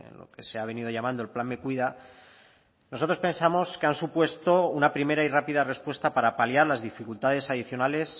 lo que se ha venido llamando el plan me cuida nosotros pensamos que han supuesto una primera y rápida respuesta para paliar las dificultades adicionales